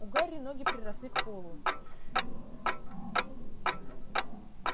у гарри ноги приросли к полу